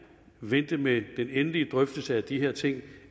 vente med den endelige drøftelse af de her ting